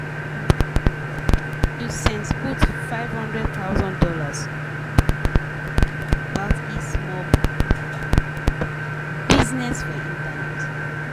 di wahala for di bank no make e customers fit do any tin yesterday morning.